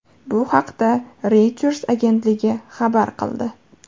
Bu haqda Reuters agentligi xabar qildi .